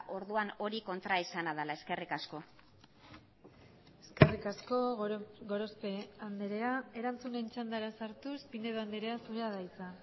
orduan hori kontraesana dela eskerrik asko eskerrik asko gorospe andrea erantzunen txandara sartuz pinedo andrea zurea da hitza